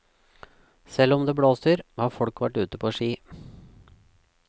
Selv om det blåser, har folk vært ute på ski.